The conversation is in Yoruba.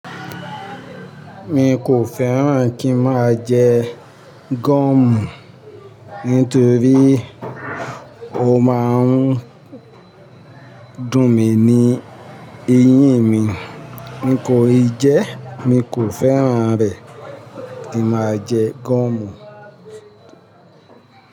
Mi kò fẹ́ràn kí n máa jẹ gọ̀mù nítorí ó máa ń dùn mí ní eyín mi. Ní ìkoijẹ́, mi kò fẹ́ràn rẹ̀ kí n máa jẹ gọ̀mù.